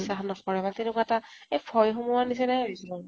স নকৰে বা তেনেকুৱা এটা আই ভয় সোমোৱা নিছিনা হৈছে